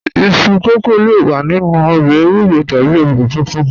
Iṣu kókó le wà nínu òbè èwúrò tàbí òbè fúnfún